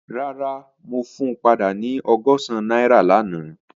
Rara, mo fun pada ni ọgọ́sán naira lana.